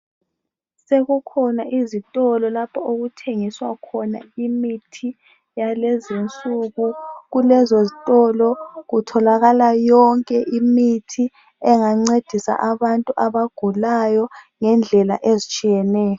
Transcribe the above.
Sekukhona izitolo lapho okuthengiswa khona imithi yakulezi insuku . Kulezo zitolo kutholakala yonke imithi engancedisa abagulayo ngendlela ezitshiyeneyo.